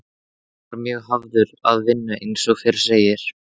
Björn var mjög hafður að vinnu eins og fyrr segir.